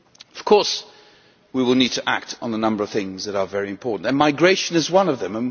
Of course, we will need to act on a number of things that are very important, and migration is one of them.